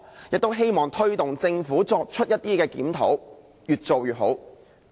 亦希望推動政府作出檢討，越做越好。